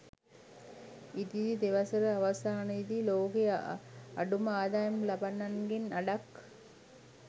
ඉදිරි දෙවසර අවසානයේදී ලෝකයේ අඩුම ආදායම් ලබන්නන්ගෙන් අඩක්